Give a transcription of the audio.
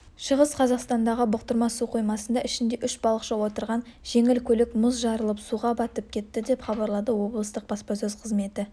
шығыс қазақстандағы бұқтырма су қоймасында ішінде үш балықшы отырған жеңіл көлік мұз жарылып суға батып кетті деп хабарлады облыстық баспасөз қызметі